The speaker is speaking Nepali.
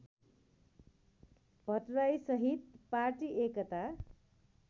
भट्टराईसहित पार्टी एकता